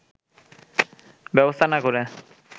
ব্যবস্থা না করে